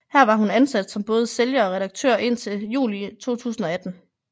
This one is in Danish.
Her var hun ansat som både sælger og redaktør indtil juli 2018